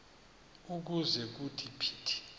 ukuze kuthi phithi